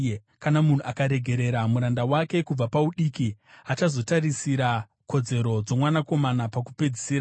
Kana munhu akaregerera muranda wake kubva paudiki, achazotarisira kodzero dzomwanakomana pakupedzisira.